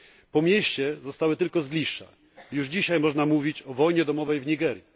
Po mieście zostały tylko zgliszcza. Już dzisiaj można mówić o wojnie domowej w Nigerii.